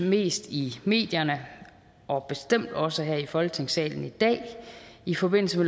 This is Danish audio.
mest i medierne og bestemt også her i folketingssalen i dag i forbindelse